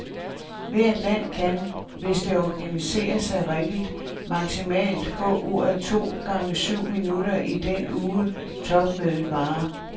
Hvert land kan, hvis det organiserer sig rigtigt, maksimalt få ordet to gange syv minutter i den uge, topmødet varer.